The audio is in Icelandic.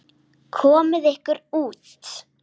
Komiði ykkur út.